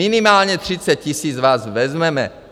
Minimálně 30 000 vás vezmeme.